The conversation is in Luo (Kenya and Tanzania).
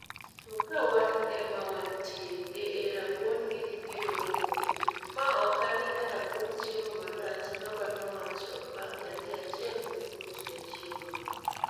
To ka wan e ma wantie, hehe rabuon gini biro romo u , ma ok ane ka rabuon chiemo marach" baba nowacho bang' nyathi achiel nokuot ne chiemo no